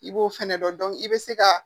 I b'o fɛnɛ dɔn i bɛ se ka